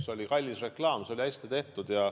See oli kallis reklaam, see oli hästi tehtud.